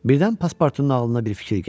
Birdən Paspartunun ağlına bir fikir gəldi.